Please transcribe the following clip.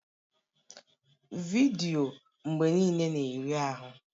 Vidiyo mgbe niile na-eri ahụ